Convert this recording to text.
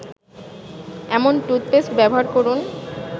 এমন টুথপেস্ট ব্যবহার করুন